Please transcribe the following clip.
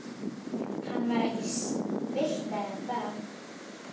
Hann var ekki spilltari en það.